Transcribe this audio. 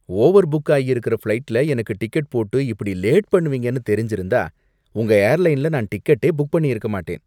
Overbook ஆகியிருக்குற ஃபிளைட்டுல எனக்கு டிக்கெட் போட்டு இப்படி லேட் பண்ணுவீங்கன்னு தெரிஞ்சிருந்தா உங்க ஏர்லைன்ல நான் டிக்கெட்டே புக் பண்ணியிருக்க மாட்டேன்.